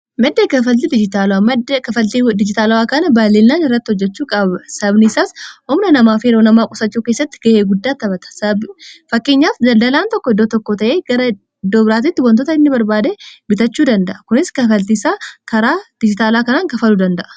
maddee kafalti maddee kafaltii dijitaala'aa kana baalinaa irratti hojjechuu sabniisaas oomna namaa feeroo namaa qusachuu keessatti ga'ee guddaa tabata fakkeenyaaf dadalaan tokko iddoo tokko ta'ee gara doobiraatitti wantoota inni barbaada bitachuu danda'a kunis kafaltiisaa karaa dijitaalaa kanaan kafaluu danda'a